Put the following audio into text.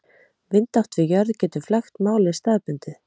Vindátt við jörð getur flækt málið staðbundið.